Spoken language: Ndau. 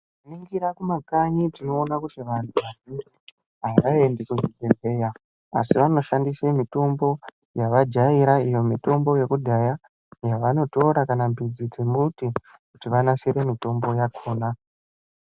Tikaningira kumakanyi tinoona kuti vantu avaendi kuzvibhedhera asi vanoshandisa mitombo yavajaira iyo mitombo yekudhaya iyo yavanotora kana mudzi kuti vanasire mitombo yakona.